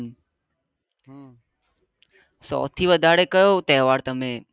સૌ થી વધાર કયો ત્યોહાર તમે